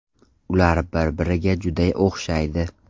Ular bir-biriga juda o‘xshaydi.